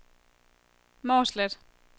Mårslet